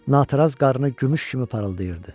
Natəraz qarnı gümüş kimi parıldayırdı.